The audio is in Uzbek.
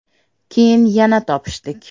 Keyin yana topishdik.